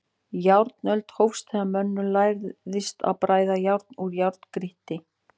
Járnöld hófst þegar mönnum lærðist að bræða járn úr járngrýti.